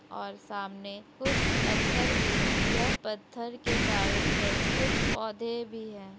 ओर सामने कुछ पत्थर भी हैं यह पत्थर के चारों तरफ कुछ पौधे भी हैं।